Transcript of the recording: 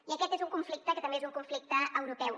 i aquest és un conflicte que també és un conflicte europeu